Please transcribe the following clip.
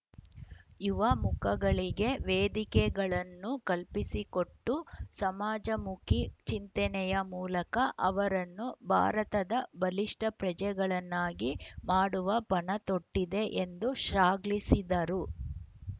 ಯುವ ಮುಖಗಳಿಗೆ ವೇದಿಕೆಗಳನ್ನು ಕಲ್ಪಿಸಿಕೊಟ್ಟು ಸಮಾಜಮುಖಿ ಚಿಂತನೆಯ ಮೂಲಕ ಅವರನ್ನು ಭಾರತದ ಬಲಿಷ್ಠ ಪ್ರಜೆಗಳನ್ನಾಗಿ ಮಾಡುವ ಪಣತೊಟ್ಟಿದೆ ಎಂದು ಶ್ಲಾಘಿಸಿದರು